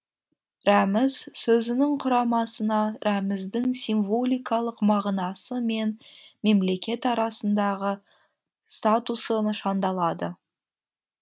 рәміз сөзінің құрамасына рәміздің символикалық мағынасы мен мемлекет араасындағы статусы нышандалады